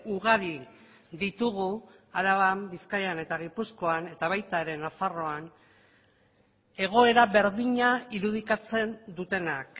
ugari ditugu araban bizkaian eta gipuzkoan eta baita ere nafarroan egoera berdina irudikatzen dutenak